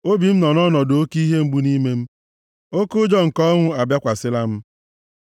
Obi m nọ nʼọnọdụ oke ihe mgbu nʼime m; oke ụjọ nke ọnwụ abịakwasịla m.